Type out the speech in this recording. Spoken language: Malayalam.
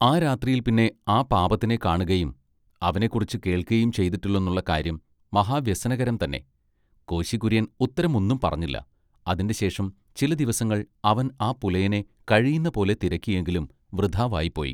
ആ രാത്രിയിൽ പിന്നെ ആ പാപത്തിനെ കാണുകയും അവനെക്കുറിച്ച് കേൾക്കയും ചെയ്തിട്ടില്ലെന്നുള്ള കാര്യം മഹാ വ്യസനകരം തന്നെ കോശി കൂര്യൻ ഉത്തരം ഒന്നും പറഞ്ഞില്ല അതിന്റെ ശേഷം ചില ദിവസങ്ങൾ അവൻ ആ പുലയനെ കഴിയുന്നപോലെ തിരക്കി എങ്കിലും വൃഥാവായിപ്പോയി.